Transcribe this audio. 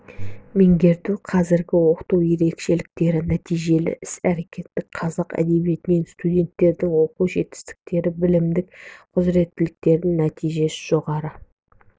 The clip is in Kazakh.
меңгерту қазіргі оқыту ерекшеліктері нәтижелі іс-әрекеттік қазақ әдебиетінен студенттердің оқу жетістіктері білімдік құзіреттіліктері нәтиже жоғары